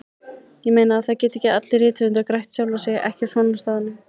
Ég meina, það geta ekki allir rithöfundar grætt sjálfa sig, ekki svona á staðnum.